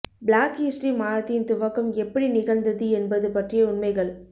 black history மாதத்தின் துவக்கம் எப்படி நிகழ்ந்தது என்பது பற்றிய உண்மைகள்